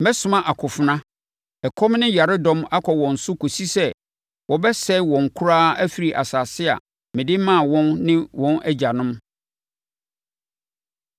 Mɛsoma akofena, ɛkɔm ne yaredɔm akɔ wɔn so kɔsi sɛ wɔbɛsɛe wɔn koraa afiri asase a mede maa wɔn ne wɔn agyanom.’ ”